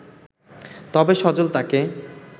তবে সজল তাকে